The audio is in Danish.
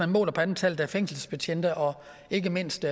målt på antallet af fængselsbetjente og ikke mindst